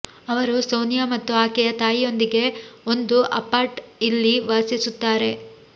ಅವರು ಸೋನಿಯಾ ಮತ್ತು ಆಕೆಯ ತಾಯಿಯೊಂದಿಗೆ ಒಂದು ಅಪಾರ್ಟ್ ಇಲ್ಲಿ ವಾಸಿಸುತ್ತಾರೆ